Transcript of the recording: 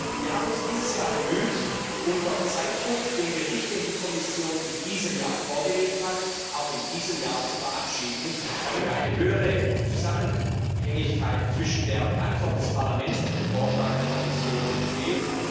Wir haben uns bemüht, unter Zeitdruck den Bericht, den die Kommission in diesem Jahr vorgelegt hat, auch in diesem Jahr zu verabschieden, damit eine höhere Zusammenhängigkeit zwischen der Antwort des Parlaments und dem Vorschlag der Kommission entsteht.